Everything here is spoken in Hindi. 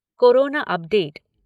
corona update